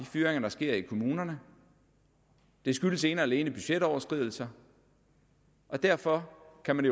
fyringer der sker i kommunerne det skyldes ene og alene budgetoverskridelser og derfor kan man